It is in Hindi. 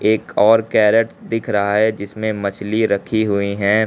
एक और कैरेट दिख रहा है जिसमें मछली रखी हुई है।